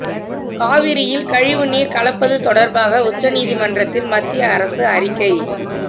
காவிரியில் கழிவு நீர் கலப்பது தொடர்பாக உச்சநீதிமன்றத்தில் மத்திய அரசு அறிக்கை